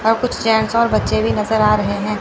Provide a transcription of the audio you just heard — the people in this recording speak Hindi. और कुछ जेंस और बच्चे भी नजर आ रहे हैं।